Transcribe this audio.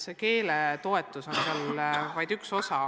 Keeleõppe toetus on seal vaid üks osa.